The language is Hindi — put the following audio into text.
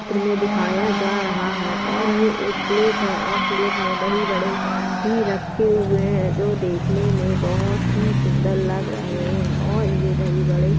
चित्र में दिखाया जा रहा है और ये एक प्लेट है और प्लेट में दही वड़े भी रखे हुए हैं जो देखने में बहोत ही सुंदर लग रहे हैं और ये दही वड़े --